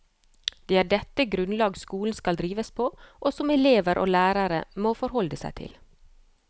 Det er dette grunnlag skolen skal drives på, og som elever og lærere må forholde seg til.